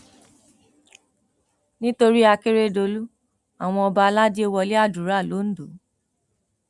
nítorí àkèrèdòlù àwọn ọba aládé wọlé àdúrà londo